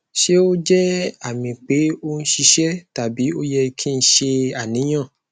ṣe o jẹ ami pe o n ṣiṣẹ tabi o yẹ ki n ṣe aniyan